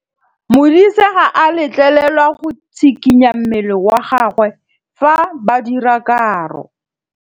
Modise ga a letlelelwa go tshikinya mmele wa gagwe fa ba dira karô.